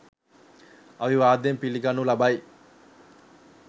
අවිවාදයෙන් පිළිගනු ලබයි.